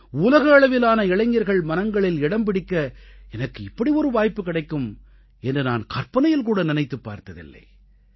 உலக அளவிலான இளைஞர்களின் மனங்களில் இடம் பிடிக்க எனக்கு இப்படி ஒரு வாய்ப்பு கிடைக்கும் என்று நான் கற்பனையில் கூட நினைத்துப் பார்த்ததில்லை